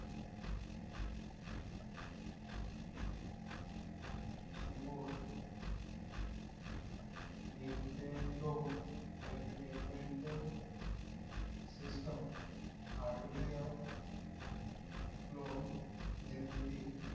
सुबोर entertainment hardware clone निर्मिती